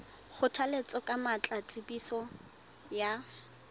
kgothalletsa ka matla tshebediso ya